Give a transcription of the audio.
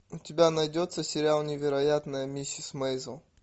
у тебя найдется сериал невероятная миссис мейзел